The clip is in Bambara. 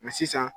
sisan